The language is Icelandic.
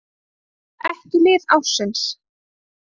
Ekki lið ársins: